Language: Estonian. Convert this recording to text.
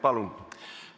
Palun!